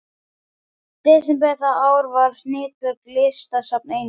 desember það ár var Hnitbjörg, listasafn Einars